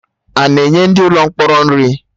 Ana enye ndị mkpọrọ nri?